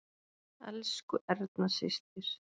Elsku Erna systir.